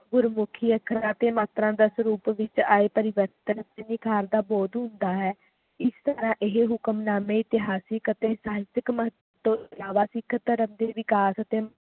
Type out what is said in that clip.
ਗੁਰਮੁਖੀ ਅੱਖਰਾਂ ਵਿਚ ਆਏ ਅਤੇ ਮਾਤਰਾ ਦਾ ਸਰੂਪ ਵੀ ਪਰਿਵਰਤਨ ਨਿਖਾਰ ਦਾ ਬਹੁਤ ਹੁੰਦਾ ਹੈ ਇਸ ਤਰ੍ਹਾਂ ਇਹ ਹੁਕਮਨਾਮੇ ਇਤਿਹਾਸਿਕ ਅਤੇ ਸਾਹਿਤਿਕ ਮਹੱਤਵ ਤੋਂ ਅਲਾਵਾ ਸਿੱਖ ਧਰਮ ਦੇ ਵਿਕਾਸ ਅਤੇ